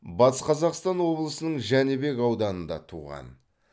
батыс қазақстан облысының жәнібек ауданында туған